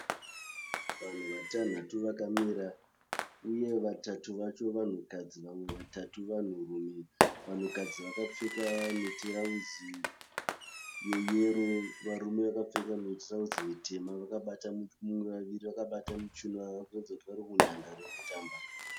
Vanhu vatanhatu vakamira uye vamwe vatatu vacho vakadzi vamwe vatatu vanhurume. Vanhukadzi vakapfeka mitirauzi yeyero. Varume vakapfeka mitirauzi mitema. Vaviri vakabata muchiuno. Vamwe varikuratidza kuti vari munhandare yekutamba.